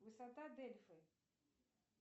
высота дельфы